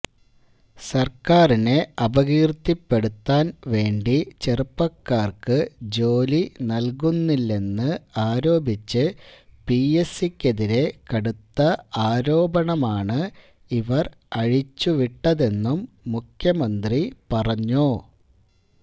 സർക്കാരിനെ അപകീർത്തിപ്പെടുത്താൻ വേണ്ടി ചെറുപ്പക്കാർക്ക് ജോലി നൽകുന്നില്ലെന്ന് ആരോപിച്ച് പിഎസ്സിക്കെതിരെ കടുത്ത ആരോപണമാണ് ഇവർ അഴിച്ചുവിട്ടതെന്നും മുഖ്യമന്ത്രി പറഞ്ഞു